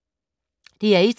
DR1